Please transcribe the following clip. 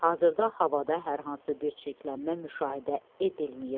Hazırda havada hər hansı bir çirklənmə müşahidə edilməyib.